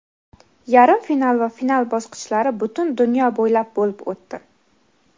yarim final va final bosqichlari butun dunyo bo‘ylab bo‘lib o‘tdi.